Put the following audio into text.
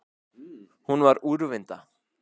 Hún var úrvinda.